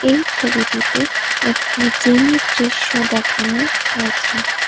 এই ছবিটিতে একটি জিমের দৃশ্য দেখানি হয়েছে।